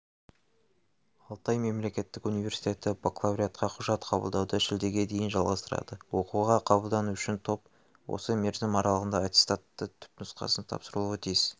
алтай мемлекеттік университеті бакалавриатқа құжат қабылдауды шілдеге дейін жалғастырады оқуға қабылдану үшін топ осы мерзім аралығында аттестаттың түпнұсқасы тапсырылуы тиіс